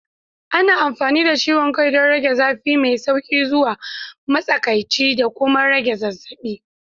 Ana amfani da ciwon kai don rage zafi mai sauƙi zuwa matsakaici da kuma rage zazzabi.